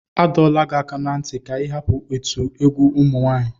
Adọla gị aka na ntị ka ị hapụ otu egwu ụmụ nwanyị.